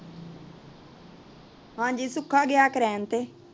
ਹੰਜੀ ਸੁਖ ਗਇਆ ਕਰੇਨ ਤੇ